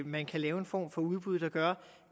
man kan lave en form for udbud der gør